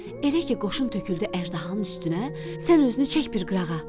Elə ki qoşun töküldü əjdahanın üstünə, sən özünü çək bir qırağa.